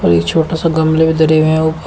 ये छोटा सा गमले धरे हुए है ऊपर--